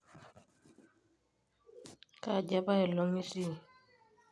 kaaji apailong itii?